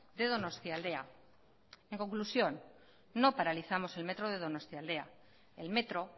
de donostialdea en conclusión no paralizamos el metro de donostialdea el metro